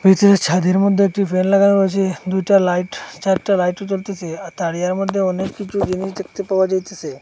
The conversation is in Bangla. ভিতরে ছাদের মধ্যে একটি ফ্যান লাগানো আছে দুইটা লাইট চারটা লাইটও জ্বলতেসে আর তারিয়ার মধ্যে অনেক কিছু জিনিস দেখতে পাওয়া যাইতেসে।